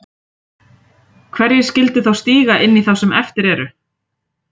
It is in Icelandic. Hverjir skildu þá stíga inn í þá sem eftir eru?